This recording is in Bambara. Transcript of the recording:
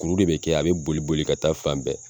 Kuru de bɛ kɛ a bɛ boli boli ka taa fan bɛɛ